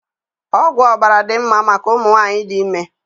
Ọgwụ ọbara dị mmá màkà ụmụnwanyi dị ime